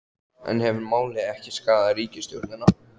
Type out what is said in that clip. En hefur málið ekki skaðað ríkisstjórnina?